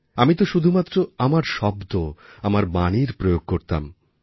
আমি তো শুধুমাত্র আমার শব্দ আমার বাণীর প্রয়োগ করতাম